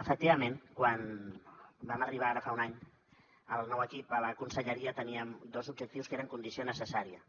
efectivament quan vam arribar ara fa un any el nou equip a la conselleria teníem dos objectius que eren condició necessària